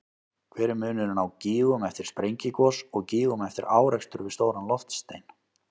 Hver er munurinn á gígum eftir sprengigos og gígum eftir árekstur við stóran loftstein?